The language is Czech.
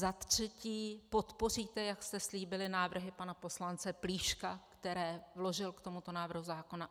Za třetí, podpoříte, jak jste slíbili, návrhy pana poslance Plíška, které vložil k tomuto návrhu zákona?